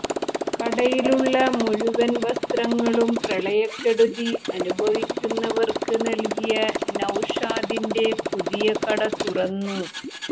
കടയിലുള്ള മുഴുവന് വസ്ത്രങ്ങളും പ്രളയക്കെടുതി അനുഭവിക്കുന്നവര്ക്ക് നല്കിയ നൌഷാദിന്റെ പുതിയ കട തുറന്നു